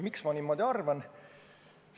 Miks ma niimoodi arvan?